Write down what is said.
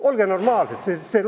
Olge normaalsed!